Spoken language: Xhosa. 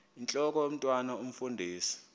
intlok omntwan omfundisi